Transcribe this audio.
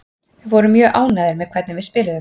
Við vorum mjög ánægðir með hvernig við spiluðum.